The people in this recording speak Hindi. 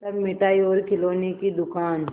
तब मिठाई और खिलौने की दुकान